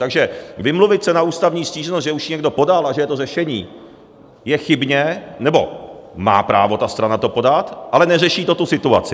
Takže vymluvit se na ústavní stížnost, že už ji někdo podal a že je to řešení, je chybně, nebo má právo ta strana to podat, ale neřeší to tu situaci.